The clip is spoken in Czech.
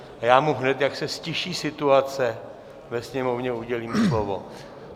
A já mu hned, jak se ztiší situace ve sněmovně, udělím slovo.